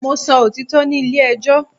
Mo sọ òtítọ́ ní ilé ẹjọ́